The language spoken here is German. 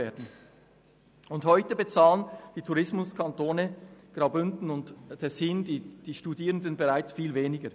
Schon heute bezahlen die Studierenden in den Tourismuskantonen Graubünden und Tessin viel weniger.